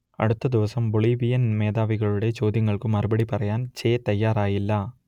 അടുത്ത ദിവസം ബൊളീവിയൻ മേധാവികളുടെ ചോദ്യങ്ങൾക്കു മറുപടി പറയാൻ ചെ തയ്യാറായില്ല